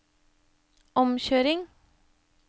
omkjøring